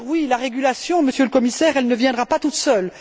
La régulation, Monsieur le Commissaire, ne se fera pas toute seule.